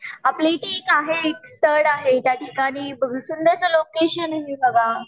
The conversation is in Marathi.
आपल्या इथे आहे एक स्थळ आहे त्याठिकाणी सुंदर लोकेशन आहे बघा